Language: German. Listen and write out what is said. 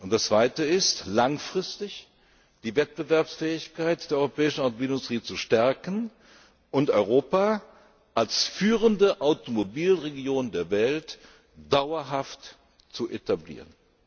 Das zweite ist, langfristig die Wettbewerbsfähigkeit der europäischen Automobilindustrie zu stärken und Europa als führende Automobilregion der Welt dauerhaft zu etablieren.